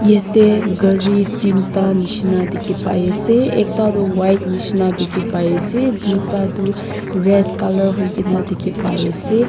yatae gari teenta nishi na dikhipaiase ekta toh white nishi na dikhipaiase tuita toh red colour hoikae na dikhipaiase.